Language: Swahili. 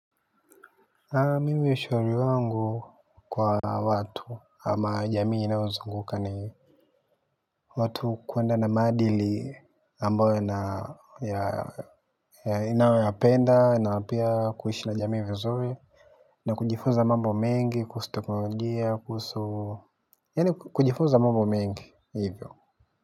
Haa mimi ushauri wangu kwa watu ama jamii inayozunguka ni watu kuenda na maadili ambayo inayopenda na pia kuishi na jamii vizuri. Na kujifunza mambo mengi kuhusu teknolojia kuhusu yaani kujifunza mambo mengi hivyo.